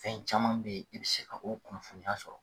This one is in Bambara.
Fɛn caman bɛ yen i bɛ se ka o .kunnafoniya sɔrɔ